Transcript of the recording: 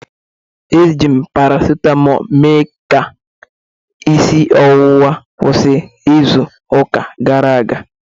Eji m paracetmol mee ka isi ọwụwa kwụsị izu ụka gara aga